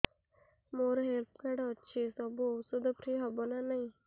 ମୋର health card ଅଛି ସବୁ ଔଷଧ ଫ୍ରି ହବ ନା ନାହିଁ